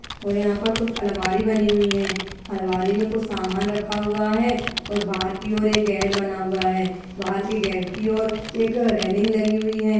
और यहाँ पर कुछ अलमारी बनी हुई हैं। अलमारी में कुछ सामान रखा हुआ है और बाहर की और एक गेट बना हुआ है। बाहर की गेट की और एक रेलिंग लगी हुई है।